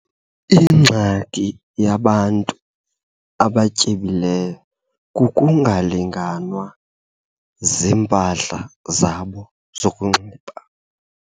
Ingxaki enkulu yabantu abatyebileyo kukungalinganwa ziimpahla zabo zokunxiba.